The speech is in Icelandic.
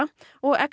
og